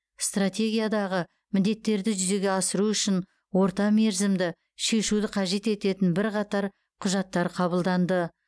стратегиядағы міндеттерді жүзеге асыру үшін ортамерзімді шешуді қажет ететін бірқатар құжаттар қабылданды